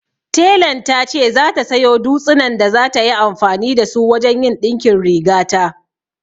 Telan ta ce za ta sayo dutsinan da za ta yi amfani da su wajen yin ɗinkin rigata